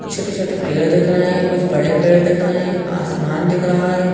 छोटे छोटे पेड़ दिख रहे है कुछ बड़े पेड़ दिख रहे है आसमान दिख रहा है।